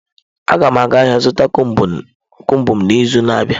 Agam aga ahia zuta combụ m n'izu na-abia.